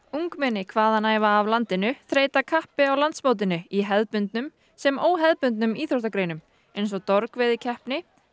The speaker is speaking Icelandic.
ungmenni hvaðanæva af landinu þreyta kappi á landsmótinu í hefðbundnum sem óhefðbundnum íþróttagreinum eins og